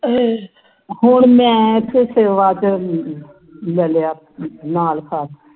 ਹੁਣ ਮੈਂ ਏਥੇ ਸੇਵਾ ਚਿਰ ਲੈ ਲਿਆ ਨਾਂ ਲਿਖਾ ਤਾ